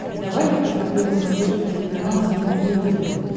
давай я посмотрю на смотрешке телеканал синергия тв